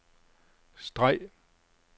streg